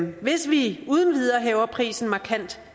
hvis vi uden videre hæver prisen markant